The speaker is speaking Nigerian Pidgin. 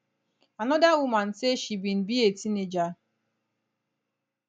anoda woman say she bin be a teenager